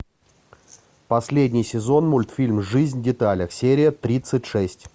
последний сезон мультфильм жизнь в деталях серия тридцать шесть